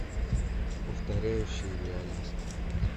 повторяющая реальность